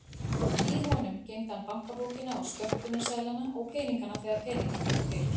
Í honum geymdi hann bankabókina og skömmtunarseðlana og peningana þegar peningar voru til.